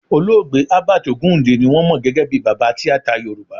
Olóògbé Herbert Ogunde ni wọ́n mọ gẹ́gẹ́ bí baba tíátà Yorùbá